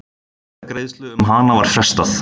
Atkvæðagreiðslu um hana var frestað.